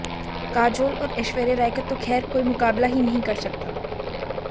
काजोल और ऐश्वर्या राय का तो खैर कोई मुकाबला ही नहीं कर सकता